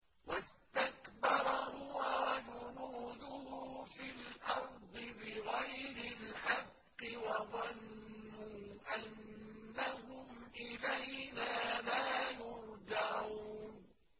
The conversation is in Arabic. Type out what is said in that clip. وَاسْتَكْبَرَ هُوَ وَجُنُودُهُ فِي الْأَرْضِ بِغَيْرِ الْحَقِّ وَظَنُّوا أَنَّهُمْ إِلَيْنَا لَا يُرْجَعُونَ